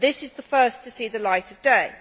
This is the first to see the light of day.